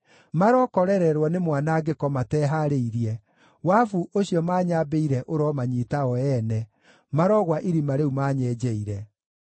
marokorererwo nĩ mwanangĩko matehaarĩirie, wabu ũcio manyambĩire ũromanyiita o ene, marogwa irima rĩu manyenjeire.